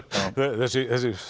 þessi